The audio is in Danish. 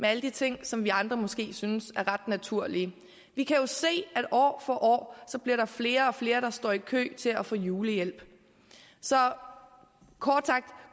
alle de ting som vi andre måske synes er ret naturlige vi kan jo se at der år for år bliver flere og flere der står i kø til at få julehjælp så kort sagt